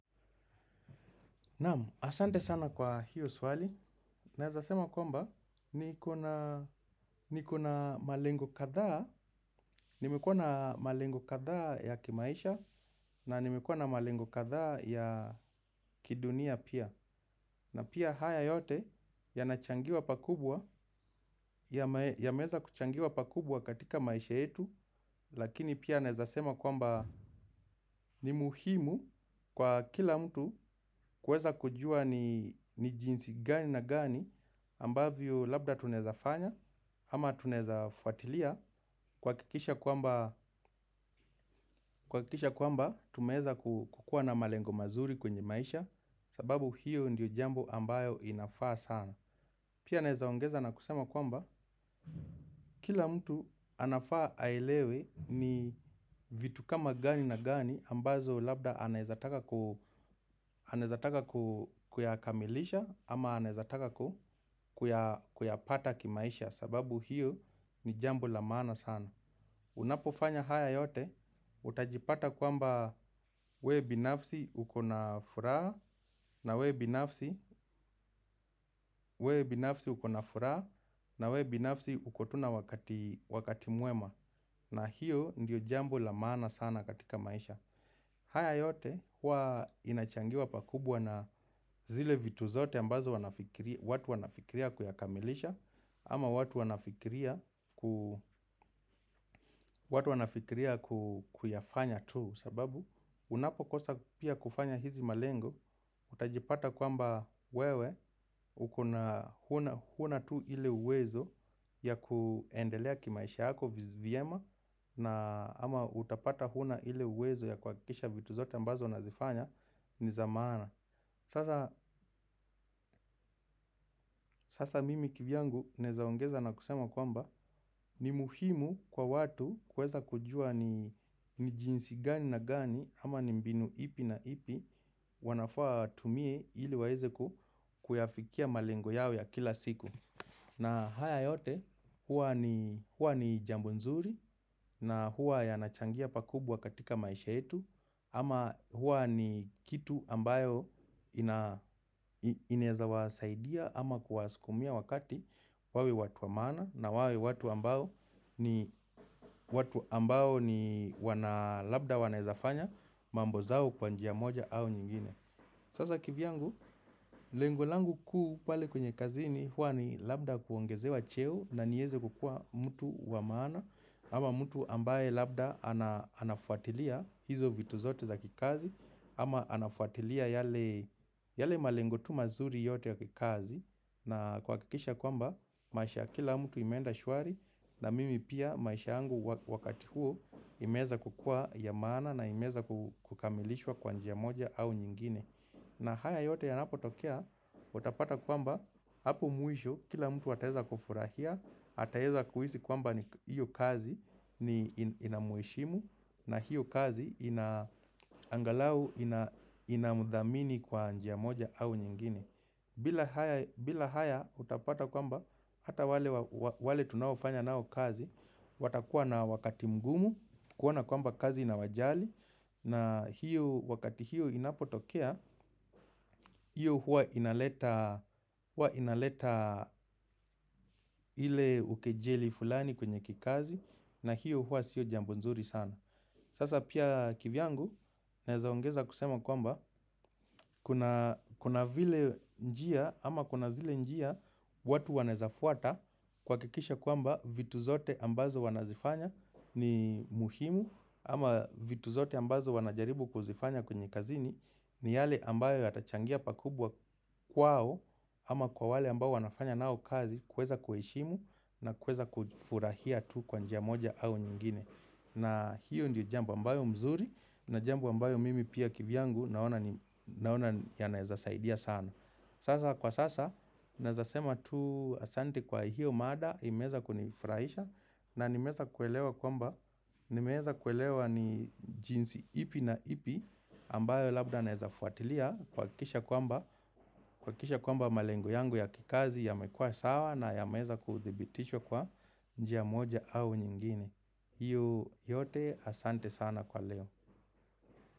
Naam, asante sana kwa hiyo swali. Naeza sema kwamba, niko na malengo kadhaa. Nimekuwa na malengo kadhaa ya kimaisha na nimekuwa na malengo kadhaa ya kidunia pia. Na pia haya yote yanachangiwa pakubwa, yameweza kuchangiwa pakubwa katika maisha yetu. Lakini pia naweza sema kwamba ni muhimu kwa kila mtu kuweza kujua ni jinsi gani na gani ambavyo labda tunaweza fanya, ama tunaweza fuatilia kuhakikisha kwamba kuhakikisha kwamba tumeweza kukuwa na malengo mazuri kwenye maisha sababu hiyo ndiyo jambo ambayo inafaa sana. Pia naweza ongeza na kusema kwamba kila mtu anafaa aelewe ni vitu kama gani na gani ambazo labda anawezataka kuyakamilisha ama anawezataka kuyapata kimaisha. Sababu hiyo ni jambo la maana sana. Unapofanya haya yote utajipata kwamba we binafsi ukona furaha na we binafsi uko tu na wakati mwema. Na hiyo ndiyo jambo la maana sana katika maisha. Haya yote huwa inachangiwa pakubwa na zile vitu zote ambazo watu wanafikiria kuyakamilisha ama watu wanafikiria kuyafanya tu sababu unapo kosa pia kufanya hizi malengo utajipata kwamba wewe uko na huna tu ile uwezo ya kuendelea kimaisha yako vyema na ama utapata huna ile uwezo ya kuhakikisha vitu zote ambazo unazifanya ni za maana. Sasa mimi kivyangu naweza ongeza na kusema kwamba ni muhimu kwa watu kuweza kujua ni jinsi gani na gani ama ni mbinu ipi na ipi wanafaa watumie ili waweze kuyafikia malengo yao ya kila siku. Na haya yote, huwa ni jambo nzuri na huwa yanachangia pakubwa katika maisha yetu. Ama huwa ni kitu ambayo inaweza wasaidia ama kuwasukumia wakati wawe watu wa maana na wawe watu ambao ni watu ambao ni wana labda wanawezafanya mambo zao kwa njia moja au nyingine. Sasa kivyangu, lengo langu kuu pale kwenye kazini huwa ni labda kuongeze wa cheo na niweze kukuwa mtu wa maana. Ama mtu ambaye labda anafuatilia hizo vitu zote za kikazi. Ama anafuatilia yale yale malengo tu mazuri yote ya kikazi. Na kuhakikisha kwamba, maisha ya kila mtu imeenda shwari. Na mimi pia maisha yangu wakati huo imeeza kukuwa ya maana na imeweza kukamilishwa kwa njia moja au nyingine. Na haya yote yanapo tokea, utapata kwamba, hapo mwisho, kila mtu ataweza kufurahia, ataweza kuhisi kwamba hiyo kazi inamheshimu, na hiyo kazi angalau inamthamini kwa njia moja au nyingine. Bila haya utapata kwamba hata wale tunaofanya nao kazi watakuwa na wakati mgumu kuona kwamba kazi inawajali. Na hiyo wakati hiyo inapotokea. Hiyo huwa inaleta ile ukejeli fulani kwenye kikazi. Na hiyo huwa sio jambo nzuri sana. Sasa pia kivyangu naweza ongeza kusema kwamba kuna vile njia ama kuna zile njia watu wanaweza fuata kuhakikisha kwamba vitu zote ambazo wanazifanya ni muhimu. Ama vitu zote ambazo wanajaribu kuzifanya kwenye kazini ni yale ambayo yatachangia pakubwa kwao. Ama kwa wale ambao wanafanya nao kazi kuweza kuheshimu na kuweza kufurahia tu kwa njia moja au nyingine. Na hiyo ndiyo jambo ambayo mzuri na jambo ambayo mimi pia kivyangu naona yanaweza saidia sana. Sasa kwa sasa naweza sema tu asante kwa hiyo mada imeweza kunifurahisha na nimeweza kuelewa kwamba nimeweza kuelewa ni jinsi ipi na ipi ambayo labda naweza fuatilia kuhakikisha kuhakikisha kwamba malengo yangu ya kikazi yamekuwa sawa na yameweza kuthibitishwa kwa njia moja au nyingine. Hiyo yote asante sana kwa leo.